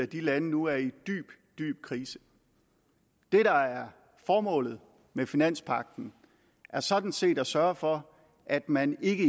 de lande nu er i dyb dyb krise det der er formålet med finanspagten er sådan set at sørge for at man ikke